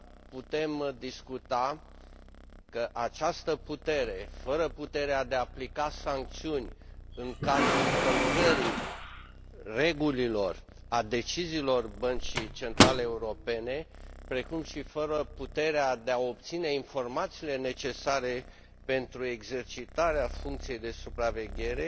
Putem discuta că prin această putere, fără puterea de a aplica sancțiuni în cazul încălcării regulilor, a deciziilor Băncii Centrale Europene, precum și fără puterea de a obține informațiile necesare pentru exercitarea funcției de supraveghere,